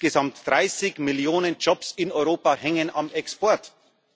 Insgesamt 30 Millionen Jobs in Europa hängen vom Export ab.